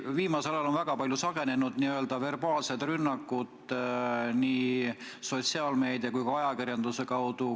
Viimasel ajal on väga palju sagenenud verbaalsed rünnakud nii sotsiaalmeedia kui ka ajakirjanduse kaudu.